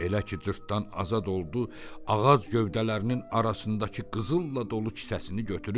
Elə ki cırtdan azad oldu, ağac gövdələrinin arasındakı qızılla dolu kisəsini götürüb.